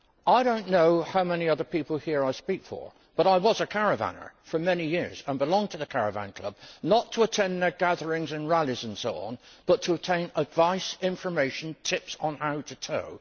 I don't know how many other people here I speak for, but I was a caravanner for many years and belonged to the Caravan Club not to attend their gatherings and rallys and so on, but to obtain advice and information, including tips on how to tow.